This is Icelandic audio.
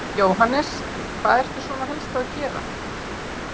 Jóhannes: Hvað ertu svona helst að gera?